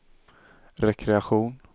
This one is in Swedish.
rekreation